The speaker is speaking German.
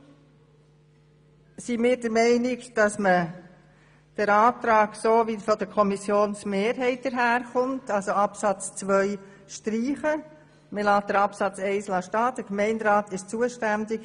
Deshalb sind wir der Meinung, der Antrag der Kommissionsmehrheit auf Streichung von Absatz 2 sei richtig, während Absatz 1 mit der Zuständigkeit des Gemeinderats stehengelassen wird.